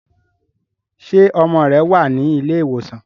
ṣe ọmọ rẹ wá ní Ilé ìwòsàn?